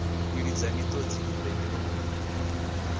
kwilidza miṱodzi i re milomo